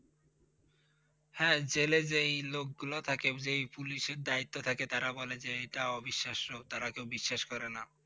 হ্যাঁ! জেলে যেই লোকগুলো থাকে যেই পুলিশের দায়িত্বে থাকে তারা বলে যে এইটা অবিশ্বাস্য, তারা কেউ বিশ্বাস করে না।